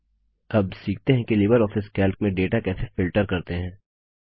अब सीखते हैं कि लिबरऑफिस कैल्क में डेटा कैसे फिल्टर करते हैं